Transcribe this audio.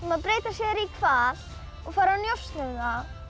að breyta sér í hval og fara að njósna